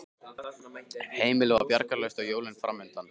Heimilið var bjargarlaust og jólin framundan.